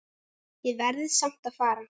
Ég verð samt að fara